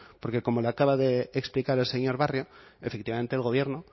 porque como lo acaba de explicar el señor barrio efectivamente el gobierno